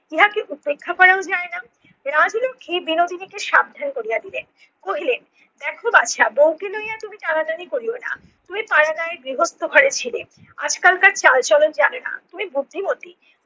ইহাকে উপেক্ষা করাও যায় না, রাজলক্ষী বিনোদিনীকে সাবধান কোরিয়া দিলেন। কহিলেন দেখো বাছা বউকে লইয়া তুমি টানাটানি করিও না। তুমি পাড়াগাঁয়ে গৃহস্থ ঘরে ছিলে আজকালকার চালচলন জানে না, তুমি বুদ্ধিমতী